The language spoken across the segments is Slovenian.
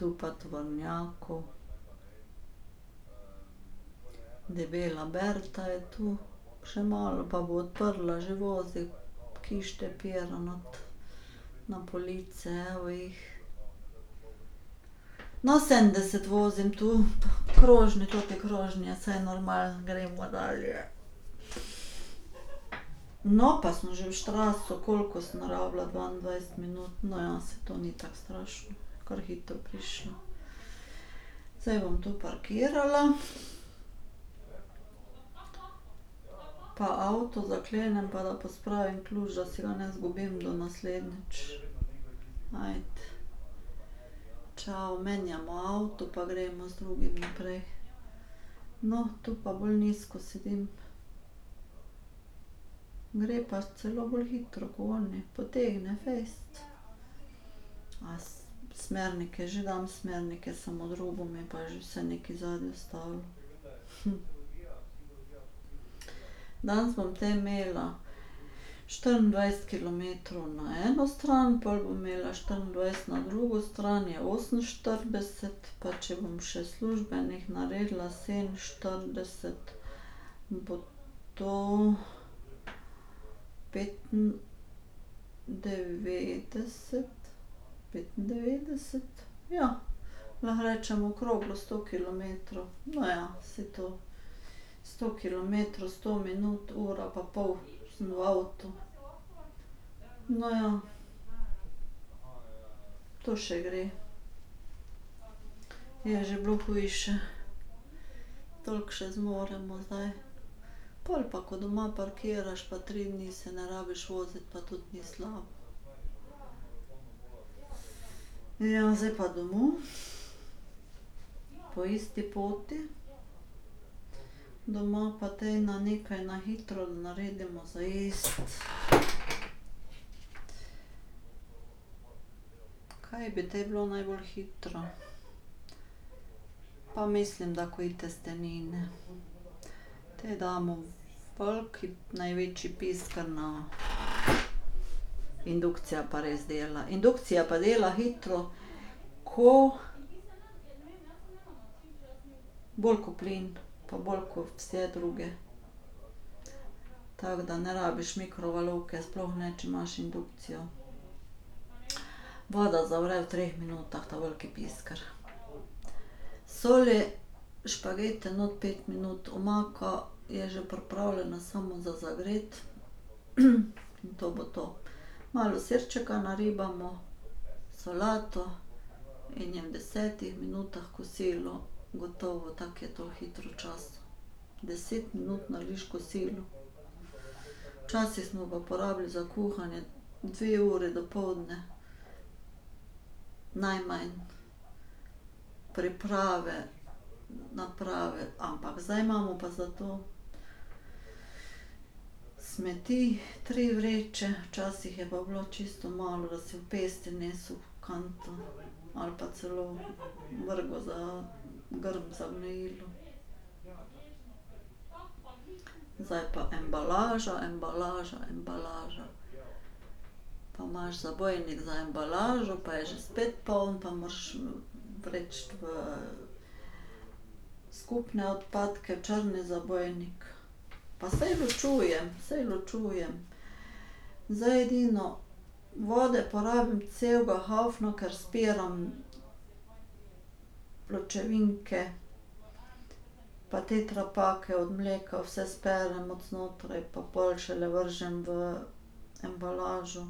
Tu pa tovornjakov ... Debela Berta je to, še malo pa bo odprla, že vozi kište pira not na police, evo jih. No, sedemdeset vozim tu. Krožne, toti krožni, saj normalno gremo dalje. No, pa smo že v Straßu, koliko sem rabila, dvaindvajset minut, no ja, saj to ni tako strašno, kar hitro prišla. Zdaj bom tu parkirala ... Pa avto zaklenem pa da pospravim ključ, da si ga ne izgubim do naslednjič. Ajde. Čao, menjamo avto pa gremo z drugim naprej. No, tu pa bolj nizko sedim. Gre pa celo bolj hitro ko oni, potegne fejst. A smernike že dam, smernike, samo drugo me pa že vse nekaj zadnje stalo. Danes bom te imela štiriindvajset kilometrov na eno stran, pol bom imela štiriindvajset na drugo stran, je oseminštirideset, pa če bom še službenih naredila sedeminštirideset, bo to petindevetdeset, petindevetdeset? Ja, lahko rečem okroglo sto kilometrov. No, ja, saj to sto kilometrov, sto minut, ura pa pol sem v avtu. No, ja, to še gre. Je že bilo hujše. Toliko še zmoremo zdaj. Pol pa ko doma parkiraš, pa tri dni se ne rabiš voziti, pa tudi ni slabo. Ja, zdaj pa domov po isti poti ... Doma pa te na nekaj na hitro naredimo za jesti, kaj bi te bilo najbolj hitro? Pa mislim, da takoj testenine. Te damo v veliki največji pisker na ... Indukcija pa res dela, indukcija pa dela hitro ko ... Bolj ko plin pa bolj ko vse druge. Tako da ne rabiš mikrovalovke sploh ne, če imaš indukcijo. Voda zavre v treh minutah, ta veliki pisker. Soli, špagete noter pet minut, omako ... Je že pripravljena, samo za zagreti in to bo to. Malo sirčka naribamo, solato in je v desetih minutah kosilo gotovo, tako je to hitro čas. Deset minut narediš kosilo. Včasih smo pa porabili za kuhanje dve ure dopoldne. Najmanj. Priprave, naprave, ampak zdaj imamo pa za to smeti tri vreče, včasih je pa bilo čisto malo, da si v pesti nesel v kanto ali pa celo vrgel za grm za gnojilo. Zdaj pa embalaža, embalaža, embalaža. Pa imaš zabojnik za embalažo, pa je že spet poln, pa moraš vreči v skupne odpadke, črni zabojnik. Pa saj ločujem, saj ločujem, zdaj edino, vode porabim celega haufna, ker spiram pločevinke ... Pa tetrapake od mleka vse sperem od znotraj, pa pol šele vržem v embalažo.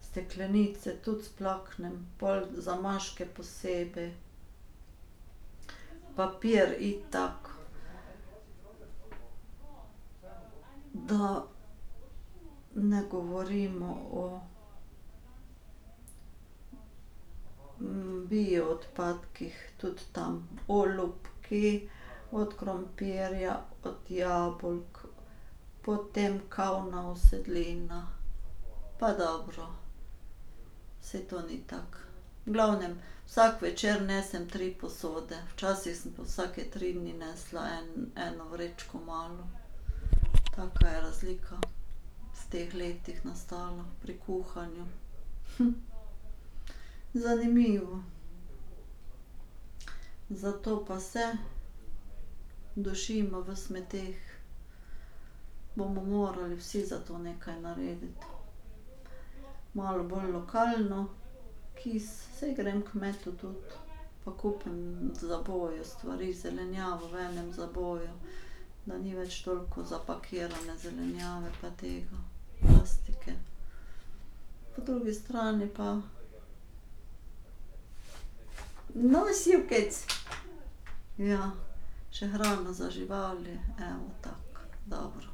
Steklenice tudi splaknem, pol zamaške posebej, papir itak ... Da ne govorimo o bioodpadkih, tudi tam olupki od krompirja, od jabolk, potem kavna usedlina ... Pa dobro, saj to ni tako. V glavnem, vsak večer nisem tri posode, včasih sem pa vsake tri dni nesla eno vrečko malo. Kakšna je razlika v teh letih nastala pri kuhanju. Zanimivo. Zato pa se dušimo v smeteh. Bomo morali vsi za to nekaj narediti. Malo bolj lokalno, kis, saj grem h kmetu tudi, pa kupim v zaboju stvari, zelenjavo v enem zaboju, da ni več toliko zapakirane zelenjave pa tega. Plastike. Po drugi strani pa ... No, Sivkec! Ja, še hrano za živali, evo, tako, dobro.